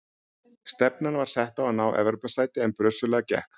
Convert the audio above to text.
Stefnan var sett á að ná Evrópusæti en brösuglega gekk.